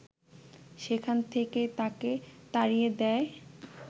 সেখান থেকেই তাকে তাড়িয়ে দেয়